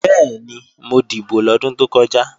Bẹ́ẹ̀ni, mo dìbò lọ́dún tó kọjá